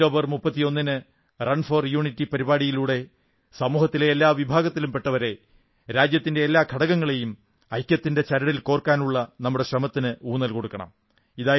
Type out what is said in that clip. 31 ഒക്ടോബറിന് run for unity പരിപാടിയിലൂടെ സമൂഹത്തിലെ എല്ലാ വിഭാഗത്തിലും പെട്ടവരെ രാജ്യത്തിന്റെ എല്ലാ ഘടകങ്ങളെയും ഐക്യത്തിന്റെ ചരടിൽ കോർക്കാനുള്ള നമ്മുടെ ശ്രമത്തിന് ഊന്നൽ കൊടുക്കണം